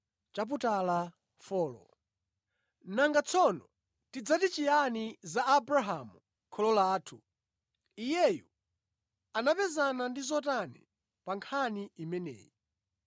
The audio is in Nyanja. Nanga tsono tidzati chiyani za Abrahamu kholo lathu, iyeyu anapezana ndi zotani pa nkhani imeneyi?